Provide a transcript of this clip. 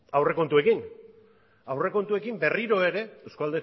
aurrekontuekin aurrekontuekin berriro ere euzko